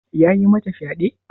Yayi mata fyade?